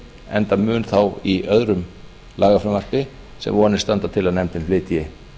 enda mun þá í öðru lagafrumvarpi sem vonir standa til að nefndin flytji